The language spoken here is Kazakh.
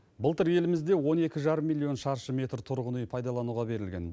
былтыр елімізде он екі жарым миллион шаршы метр тұрғын үй пайдалануға берілген